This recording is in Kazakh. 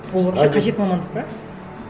ол вообще қажет мамандық па